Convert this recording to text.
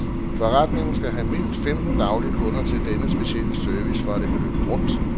Forretningen skal have mindst femten daglige kunder til denne specielle service, for at det kan løbe rundt.